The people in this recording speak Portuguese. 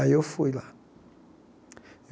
Aí eu fui lá.